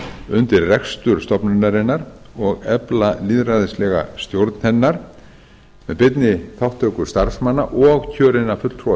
undir rekstur stofnunarinnar og efla lýðræðislega stjórn hennar með beinni þátttöku starfsmanna og kjörinna fulltrúa